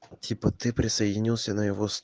типа ты присоединился на его сто